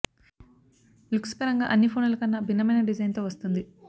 looks పరంగా అన్ని ఫోనుల కన్నా భిన్నమైన డిజైన్ తో వస్తుంది